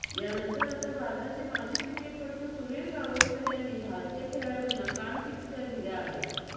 यानंतर आता भारताचे माजी क्रिकेटपटू सुनिल गावस्कर यांनी भारतीय खेळाडूंना कानपिचक्या दिल्या आहेत